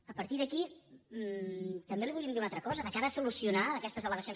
a partir d’aquí també li volíem dir una altra cosa de cara a solucionar aquestes almadrid